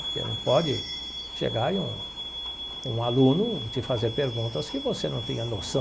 Porque não pode chegar e um um aluno te fazer perguntas que você não tenha noção.